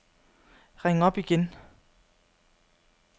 ring op igen